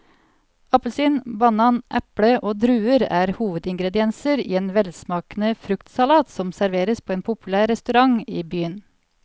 Appelsin, banan, eple og druer er hovedingredienser i en velsmakende fruktsalat som serveres på en populær restaurant i byen.